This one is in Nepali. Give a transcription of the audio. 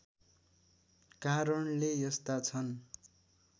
कारणले यस्ता छन्